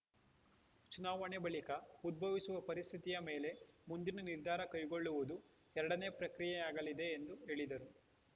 ಚುನಾವಣೆ ಬಳಿಕ ಉದ್ಭವಿಸುವ ಪರಿಸ್ಥಿತಿಯ ಮೇಲೆ ಮುಂದಿನ ನಿರ್ಧಾರ ಕೈಗೊಳ್ಳುವುದು ಎರಡನೇ ಪ್ರಕ್ರಿಯೆಯಾಗಲಿದೆ ಎಂದು ಹೇಳಿದರು